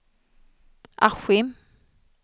Askim